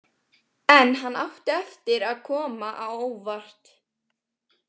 En hann átti eftir að koma á óvart.